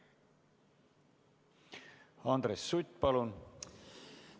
Andres Sutt, palun!